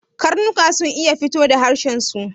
Karnuka sun iya fito da harshen su